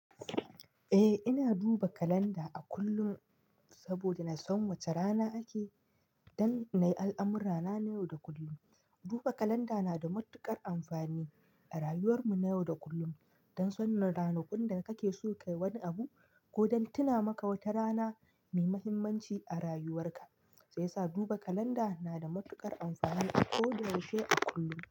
Eh, ina duba kalanda a kullum saboda nasan wace rana ake, don na yi al'amurana na yau da kullum. Duba kalanda na da matuƙar amfani a rayuwar mu na yau da kullum don sanin ranakun da kake so ka yi wani abu ko don tuna maka wata rana mai muhimmanci a rayuwarka, sai yasa duba kalanda na da matuƙar amfani a ko da yaushe a kullum.